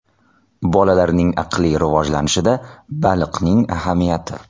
Bolalarning aqliy rivojlanishida baliqning ahamiyati.